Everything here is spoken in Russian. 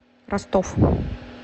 ростов